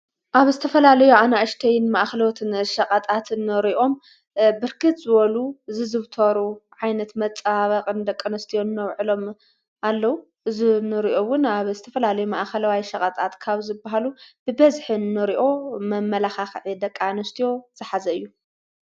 ኣብ ዝተፈላለዩ ኣናእሽተይን መኣኸለዎትን ሸቐጣት ንሪኦም ብርክት ዝበሉ ዝዝውተሩ ዓይነት መፀባበቒ ንደቂ አንስቲዮ እነውዕሎም ኣለዉ። እዝንሪኦውን ኣብ ዝተፈላለዩ መኣኸለዋይ ሸቐጣት ካብ ዝበሃሉ ብበዝሒ እንሪኦ መመላክዒ ንደቂ አንስትዮ ዝሓዘ እዩ።